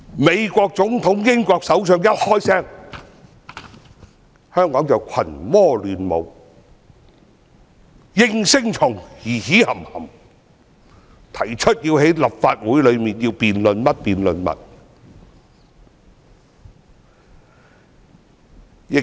美國總統、英國首相等外國勢力一說話，香港的應聲蟲便群魔亂舞，在立法會提出各種辯論。